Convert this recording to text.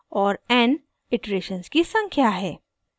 n iterations की संख्या है